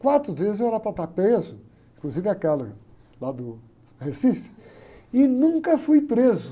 Quatro vezes eu era para estar preso, inclusive aquela lá do Recife, e nunca fui preso.